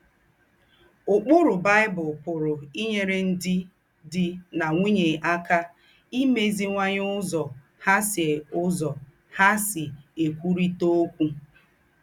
Úkpùrù Baị́bụ̀l pùrù ínyèrè ńdị́ dì nà ńwùnyè ákà ímèzìwànyè úzọ̀ hà sí úzọ̀ hà sí ékwùrị̀tà ókwú.